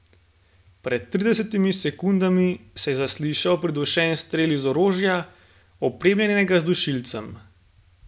Pred tridesetimi sekundami se je zaslišal pridušen strel iz orožja, opremljenega z dušilcem.